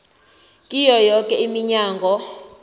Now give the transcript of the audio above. kiyo yoke iminyango